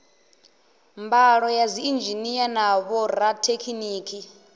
mbalo ya dziinzhinia na vhorathekhiniki